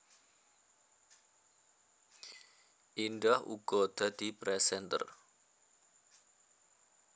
Indah uga dadi presenter